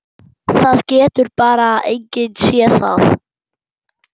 Það getur bara enginn séð það.